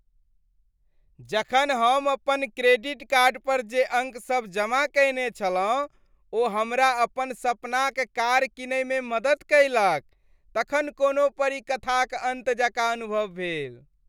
जखन हम अपन क्रेडिट कार्ड पर जे अंक सब जमा कयने छलहुँ ओ हमरा अपन सपनाक कार किनइमे मदति कयलक तखन कोनो परीकथाक अन्त जकाँ अनुभव भेल।